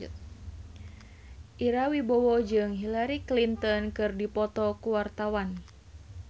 Ira Wibowo jeung Hillary Clinton keur dipoto ku wartawan